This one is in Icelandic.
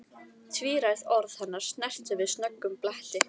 Tvíræð orð hennar snertu við snöggum bletti.